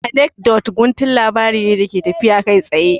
Anekdot guntun labari ne da ke tafiya kai tsaye